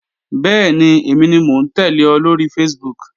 Bẹ́ẹ̀ni, èmi ni mò ń tẹ́lẹ̀ ọ lóri Facebook